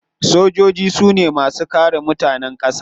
Sojoji su ne masu kare mutanen kasa.